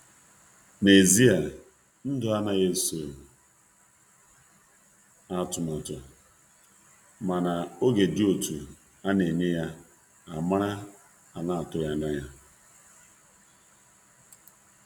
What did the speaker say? Na ezia ndụ anaghị eso atụmatụ, mana oge dị otú a na-enye ya amara ana-atụghị anya ya.